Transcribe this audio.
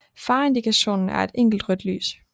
Fareindikationen er et enkelt rødt lys